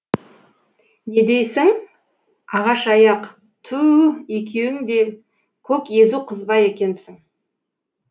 не дейсің ағаш аяқ ту у екеуің де көк езу қызба екенсің